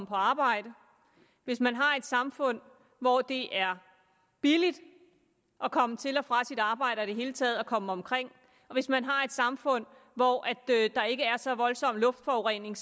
på arbejde hvis man har et samfund hvor det er billigt at komme til og fra sit arbejde og i det hele taget at komme omkring hvis man har et samfund hvor der ikke er så voldsom en luftforurening